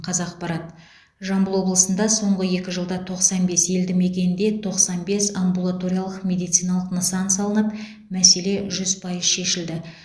қазақпарат жамбыл облысында соңғы екі жылда тоқсан бес елді мекенде тоқсан бес амбулаториялық медициналық нысан салынып мәселе жүз пайыз шешілді